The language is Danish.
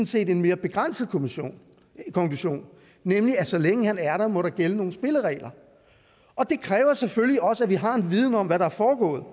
set en mere begrænset konklusion nemlig at så længe han er der må der gælde nogle spilleregler og det kræver selvfølgelig også at vi har en viden om hvad der er foregået